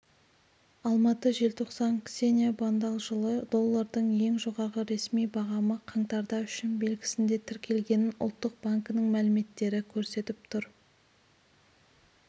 алматы желтоқсан ксения бондал жылы доллардың ең жоғарғы ресми бағамы қаңтарда үшін белгісінде тіркелгенін ұлттық банкінің мәліметтері көрсетіп тұр